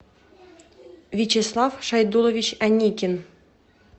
вячеслав шайдуллович аникин